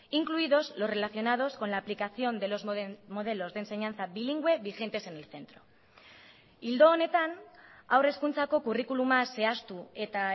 incluidos los relacionados con la aplicación de los modelos de enseñanza bilingüe vigentes en el centro ildo honetan haur hezkuntzako kurrikuluma zehaztu eta